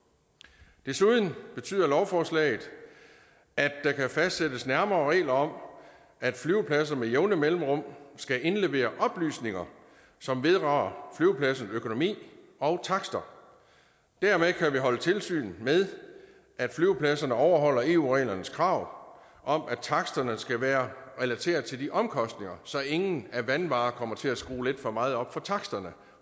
det desuden betyder lovforslaget at der kan fastsættes nærmere regler om at flyvepladser med jævne mellemrum skal indlevere oplysninger som vedrører flyvepladsens økonomi og takster dermed kan vi holde tilsyn med at flyvepladserne overholder eu reglernes krav om at taksterne skal være relateret til de omkostninger så ingen af vanvare kommer til at skrue lidt for meget op for taksterne